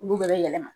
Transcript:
Olu bɛɛ bɛ yɛlɛma